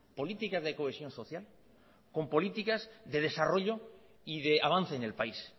política de cohesión social con políticas de desarrollo y de avance en el país